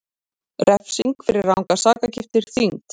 Refsing fyrir rangar sakargiftir þyngd